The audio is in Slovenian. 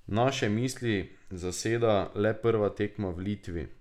Naše misli zaseda le prva tekma v Litvi.